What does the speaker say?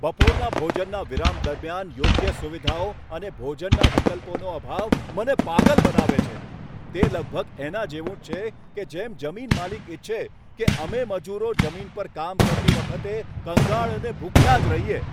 બપોરના ભોજનના વિરામ દરમિયાન યોગ્ય સુવિધાઓ અને ભોજનના વિકલ્પોનો અભાવ મને પાગલ બનાવે છે. તે લગભગ એના જેવું જ છે કે જેમ જમીન માલિક ઇચ્છે કે અમે મજૂરો જમીન પર કામ કરતી વખતે કંગાળ અને ભૂખ્યા જ રહીએ.